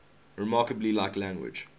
remarkably like language